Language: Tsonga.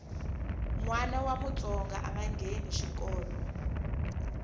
nwana wa mutsonga anga ngheni xikolo